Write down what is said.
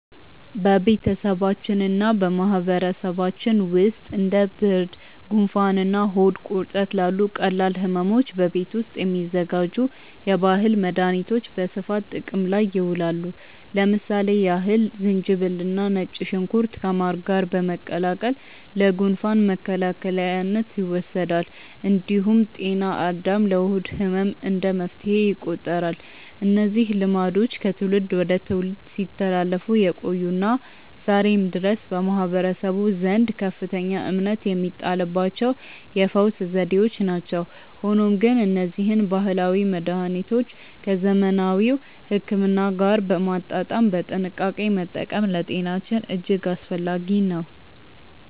በቤተሰባችንና በማህበረሰባችን ውስጥ እንደ ብርድ፣ ጉንፋንና ሆድ ቁርጠት ላሉ ቀላል ሕመሞች በቤት ውስጥ የሚዘጋጁ የባህል መድኃኒቶች በስፋት ጥቅም ላይ ይውላሉ። ለምሳሌ ያህል ዝንጅብልና ነጭ ሽንኩርት ከማር ጋር በመቀላቀል ለጉንፋን መከላከያነት ይወሰዳል። እንዲሁም ጤና አዳም ለሆድ ህመም እንደ መፍትሄ ይቆጠራሉ። እነዚህ ልማዶች ከትውልድ ወደ ትውልድ ሲተላለፉ የቆዩና ዛሬም ድረስ በማህበረሰቡ ዘንድ ከፍተኛ እምነት የሚጣልባቸው የፈውስ ዘዴዎች ናቸው። ሆኖም ግን እነዚህን ባህላዊ መድኃኒቶች ከዘመናዊ ሕክምና ጋር በማጣጣም በጥንቃቄ መጠቀም ለጤናችን እጅግ አስፈላጊ ነው።